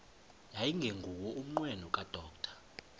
yayingenguwo umnqweno kadr